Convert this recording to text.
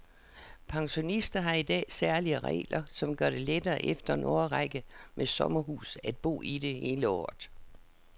Pensionister har i dag særlige regler, som gør det lettere efter en årrække med sommerhus at bo i det hele året.